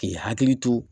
K'i hakili to